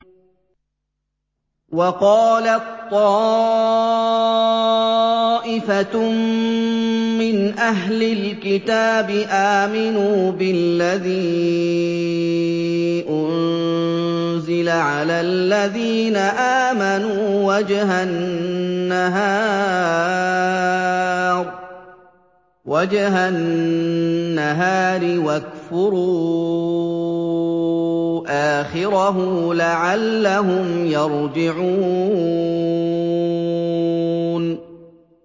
وَقَالَت طَّائِفَةٌ مِّنْ أَهْلِ الْكِتَابِ آمِنُوا بِالَّذِي أُنزِلَ عَلَى الَّذِينَ آمَنُوا وَجْهَ النَّهَارِ وَاكْفُرُوا آخِرَهُ لَعَلَّهُمْ يَرْجِعُونَ